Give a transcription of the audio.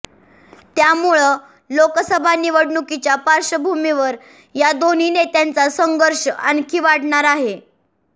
त्यामुळं लोकसभा निवडणुकीच्या पार्श्वभूमीवर या दोन्ही नेत्यांचा संघर्ष आणखी वाढणार आहे